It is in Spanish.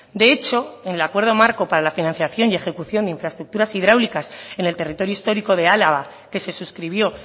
de hecho en el acuerdo marco para la financiación y ejecución de infraestructuras hidráulicas en el territorio histórico de álava que se suscribió